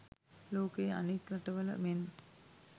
ලෝකයේ අනෙක් රටවල මෙන්